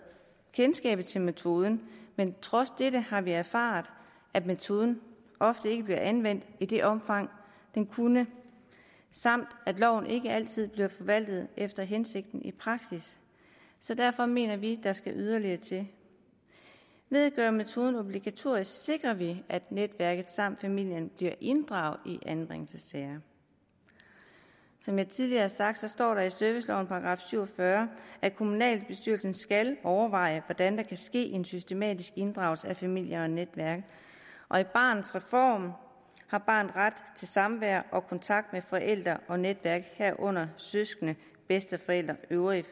kendskabet til metoden men trods dette har vi erfaret at metoden ofte ikke bliver anvendt i det omfang den kunne samt at loven ikke altid bliver forvaltet efter hensigten i praksis så derfor mener vi at der skal yderligere til ved at gøre metoden obligatorisk sikrer vi at netværket samt familien bliver inddraget i anbringelsessager som jeg tidligere har sagt står der i servicelovens § syv og fyrre at kommunalbestyrelsen skal overveje hvordan der kan ske en systematisk inddragelse af familie og netværk og i barnets reform har barnet ret til samvær og kontakt med forældre og netværk herunder søskende bedsteforældre øvrige